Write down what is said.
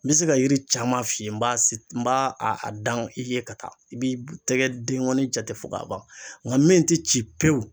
N be se ka yiri caman f'i ye n b'a sit n b'a a a dan i ye ka taa i b'i tɛgɛ dengɔni jate fɔ ka ban nga min te ci pewu